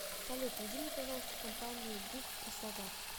салют найди мне пожалуйста компанию гук краснодар